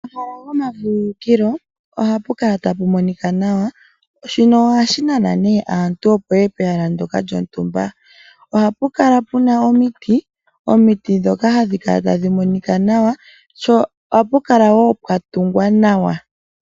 Omahala gomavululukilo oha pu kala ta pu monika nawa, shino ohashi nana nee aantu opo ya ye pehala nlyoka lyontumba. Oha pu kala puna omiti ndhoka ta dhi monika nawa, oha pu kala woo pwatungwa nawa.